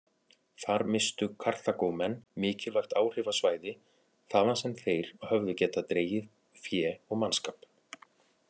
Þar misstu Karþagómenn mikilvægt áhrifasvæði þaðan sem þeir höfðu getað dregið fé og mannskap.